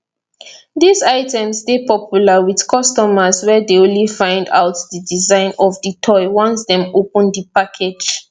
dis items dey popular with customers wey dey only find out di design of di toy once dem open di package